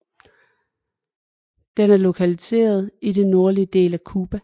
Den er lokaliseret i den nordlige del af Cuba